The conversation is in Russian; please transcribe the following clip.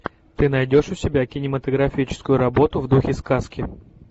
ты найдешь у себя кинематографическую работу в духе сказки